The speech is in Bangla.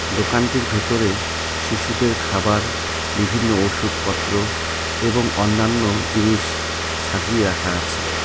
দোকানটি ভিতরে শিশুদের খাবার বিভিন্ন ওষুধ পত্র এবং অন্যান্য জিনিস সাজিয়ে রাখা আছে.